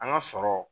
An ka sɔrɔ